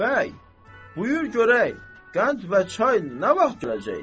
Bəy, buyur görək, qənd və çay nə vaxt gələcək?